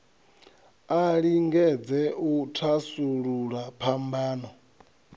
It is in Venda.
a lingedze u thasulula phambano